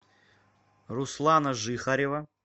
руслана жихарева